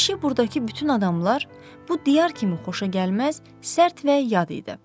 Kişi burdakı bütün adamlar, bu diyar kimi xoşagəlməz, sərt və yad idi.